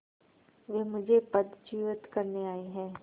वे मुझे पदच्युत करने आये हैं